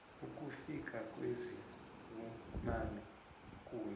ukufika kwezibunane kuye